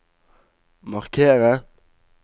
markere